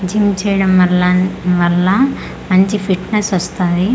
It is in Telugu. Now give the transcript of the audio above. జిమ్ చేయడం వలన్ వల్ల మంచి ఫిట్నెస్ వస్తది.